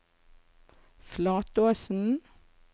Flatåsen